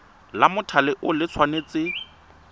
la mothale o le tshwanetse